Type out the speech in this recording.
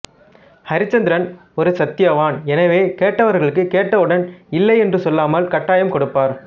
அரிச்சந்திரன் ஒரு சத்தியவான் எனவே கேட்டவர்களுக்கு கேட்டவுடன் இல்லை என்று சொல்லாமல் கட்டாயம் கொடுப்பார்